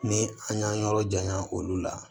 Ni an y'an yɔrɔ janya olu la